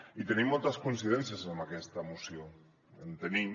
i tenim moltes coincidències en aquesta moció en tenim